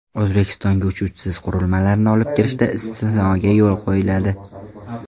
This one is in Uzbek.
O‘zbekistonga uchuvchisiz qurilmalarni olib kirishda istisnoga yo‘l qo‘yiladi .